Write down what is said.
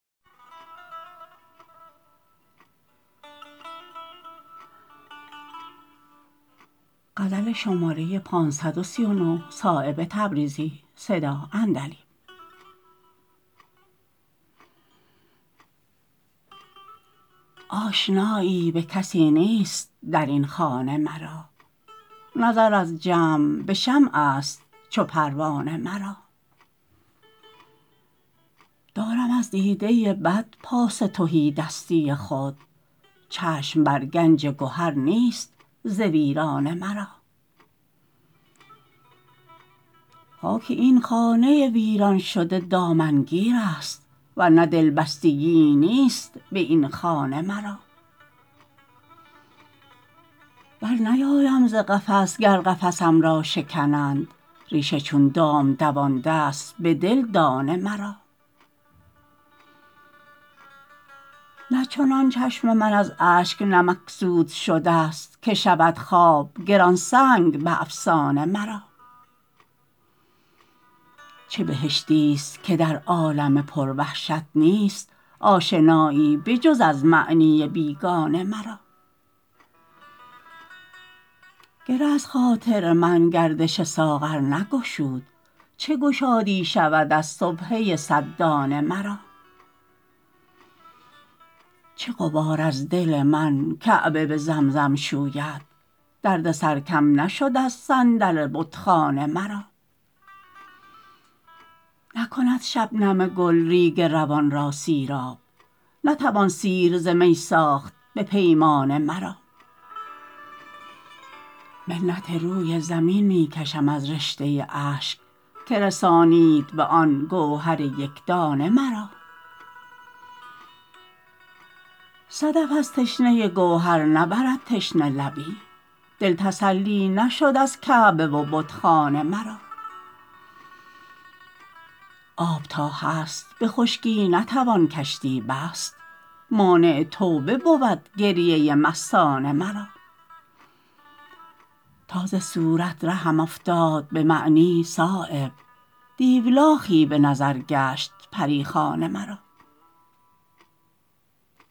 آشنایی به کسی نیست درین خانه مرا نظر از جمع به شمع است چو پروانه مرا دارم از دیده بد پاس تهیدستی خود چشم بر گنج گهر نیست ز ویرانه مرا خاک این خانه ویران شده دامنگیرست ورنه دلبستگیی نیست به این خانه مرا برنیایم ز قفس گر قفسم را شکنند ریشه چون دام دوانده است به دل دانه مرا نه چنان چشم من از اشک نمکسود شده است که شود خواب گرانسنگ به افسانه مرا چه بهشتی است که در عالم پر وحشت نیست آشنایی به جز از معنی بیگانه مرا گره از خاطر من گردش ساغر نگشود چه گشادی شود از سبحه صد دانه مرا چه غبار از دل من کعبه به زمزم شوید دردسر کم نشد از صندل بتخانه مرا نکند شبنم گل ریگ روان را سیراب نتوان سیر ز می ساخت به پیمانه مرا منت روی زمین می کشم از رشته اشک که رسانید به آن گوهر یکدانه مرا صدف از تشنه گوهر نبرد تشنه لبی دل تسلی نشد از کعبه و بتخانه مرا آب تا هست به خشکی نتوان کشتی بست مانع توبه بود گریه مستانه مرا تا ز صورت رهم افتاد به معنی صایب دیولاخی به نظر گشت پریخانه مرا